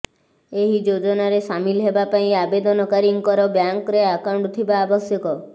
ଏହି ଯୋଜନାରେ ସାମିଲ ହେବା ପାଇଁ ଆବେଦନକାରୀଙ୍କର ବ୍ୟାଙ୍କରେ ଆକାଉଣ୍ଟ ଥିବା ଆବଶ୍ୟକ